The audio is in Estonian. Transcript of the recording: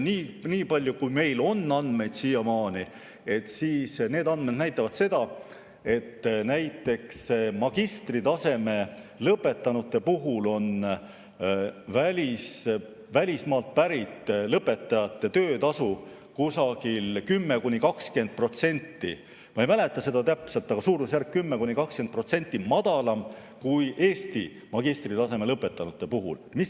Nii palju kui meil on siiamaani andmeid, need näitavad, et näiteks magistritaseme lõpetanute puhul on välismaalt pärit lõpetanute töötasu 10–20%, ma täpselt ei mäleta, aga selles suurusjärgus madalam kui Eestist pärit magistritaseme lõpetanute puhul.